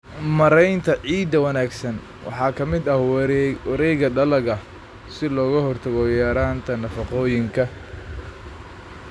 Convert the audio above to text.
Maareynta ciidda wanaagsan waxaa ka mid ah wareegga dalagga si looga hortago yaraanta nafaqooyinka.